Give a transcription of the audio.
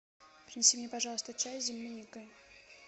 принеси мне пожалуйста чай с земляникой